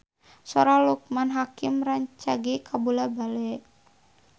Sora Loekman Hakim rancage kabula-bale